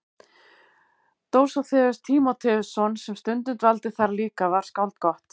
Dósóþeus Tímóteusson sem stundum dvaldi þar líka var skáld gott.